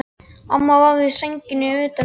Amma vafði sænginni utan um hana.